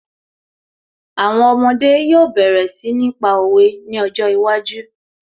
Àwọn ọmọdé yóò bẹ̀rẹ̀ sí ní pa òwe ní ọjọ́ iwájú